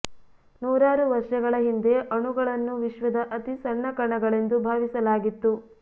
ನೂರಾರು ವರ್ಷಗಳ ಹಿಂದೆ ಅಣುಗಳನ್ನು ವಿಶ್ವದ ಅತಿ ಸಣ್ಣ ಕಣಗಳೆಂದು ಭಾವಿಸಲಾಗಿತ್ತು